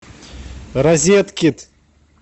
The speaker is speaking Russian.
розеткид